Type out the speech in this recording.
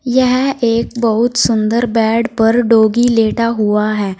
यह एक बहुत सुंदर बैड पर डॉगी लेटा हुआ है।